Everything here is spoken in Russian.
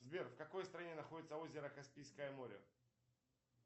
сбер в какой стране находится озеро каспийское море